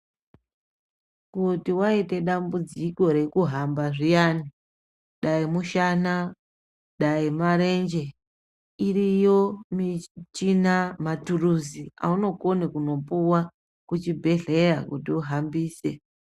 Kuti waita dambudziko rekuhamba zviyani dai mushana dai marenje iriyo michina maturuzi auno kone kundopuwa kuchibhedhlera kuti uhambise.